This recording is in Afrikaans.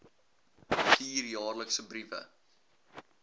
stuur jaarliks briewe